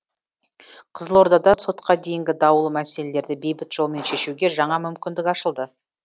қызылордада сотқа дейінгі даулы мәселелерді бейбіт жолмен шешуге жаңа мүмкіндік ашылды